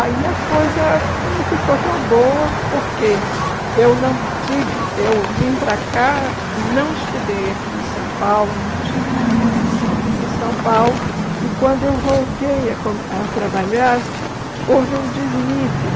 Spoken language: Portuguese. Aí a coisa não ficou tão boa, porque eu não tive eu vim para cá, não estudei aqui em São Paulo, não tive uma formação aqui em São Paulo, e quando eu voltei a co trabalhar, houve um desnível.